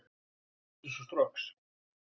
Geysis og Strokks.